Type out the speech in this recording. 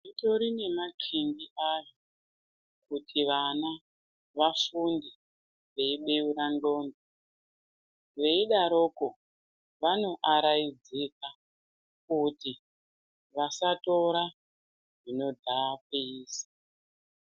Zvitori nemanqingi azvo kuti vana vafunde veibuura ndxondo. Veidaroko vanoaraidzika kuti vasatora zvinodhakwisa.